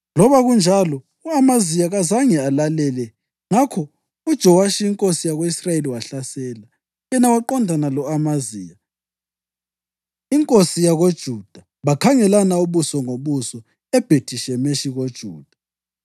Loba kunjalo, u-Amaziya, kazange alalele, ngakho uJowashi inkosi yako-Israyeli wahlasela. Yena waqondana lo-Amaziya inkosi yakoJuda bakhangelana ubuso ngobuso eBhethi-Shemeshi koJuda.